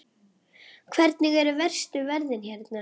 Hvernig eru verstu veðrin hérna?